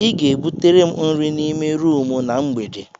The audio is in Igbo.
Ị ga-ebutere m nri n'ime rumụ na mgbede.